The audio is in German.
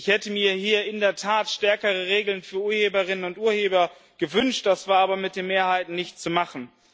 Ich hätte mir hier in der Tat stärkere Regeln für Urheberinnen und Urheber gewünscht, das war aber mit der Mehrheit nicht zu machen.